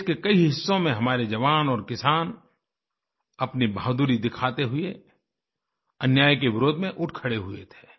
देश के कई हिस्सों में हमारे जवान और किसान अपनी बहादुरी दिखाते हुए अन्याय के विरोध में उठ खड़े हुए थे